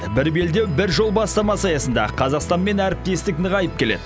бір белдеу бір жол бастамасы аясында қазақстанмен әріптестік нығайып келеді